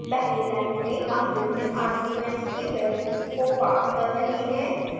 पहली line में हम विभिन्न arguments की values को पास कर रहे हैं